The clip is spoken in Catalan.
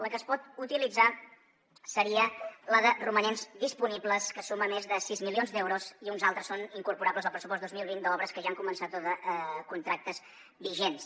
la que es pot utilitzar seria la de romanents disponibles que suma més de sis milions d’euros i uns altres són incorporables al pressupost dos mil vint d’obres que ja han començat o de contractes vigents